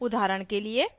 उदाहरण के लिए